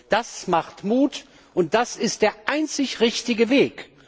Das macht Mut, und das ist der einzig richtige Weg!